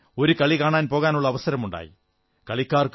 എനിക്കും ഒരു കളി കാണാൻ പോകാനുള്ള അവസരമുണ്ടായി